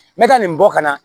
N bɛ taa nin bɔ ka na